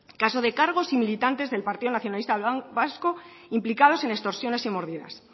caso de cargos y militantes del partido nacionalista vasco implicados en extorsiones y mordidas